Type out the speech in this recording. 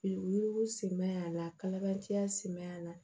U yugu siman y'a la kalabanciya si ma y'a la